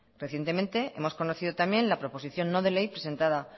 recientemente hemos conocido también la proposición no de ley presentada